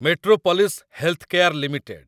Metropolis Healthcare limited